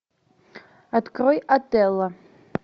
открой отелло